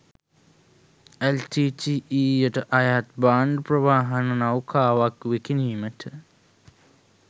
එල්.ටී.ටී.ඊ.යට අයත් භාණ්ඩ ප්‍රවාහන නෞකාවක් විකිණීමට